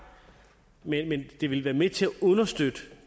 men det vil være med til at understøtte